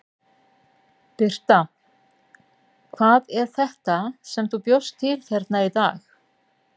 Birta: Hvað er þetta sem þú bjóst til hérna í dag?